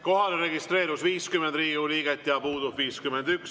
Kohalolijaks registreerus 50 Riigikogu liiget, puudub 51.